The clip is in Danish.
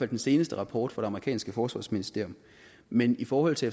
den seneste rapport fra det amerikanske forsvarsministerium men i forhold til